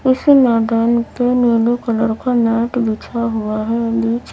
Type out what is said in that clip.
इस मैदान पे नीले कलर का मैट बिछा हुआ है। नीचे--